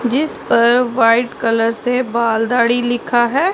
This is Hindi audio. जिस पर वाइट कलर से बाल दाढ़ी लिखा है।